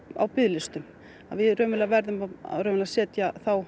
á biðlistum við raunverulega verðum að setja þá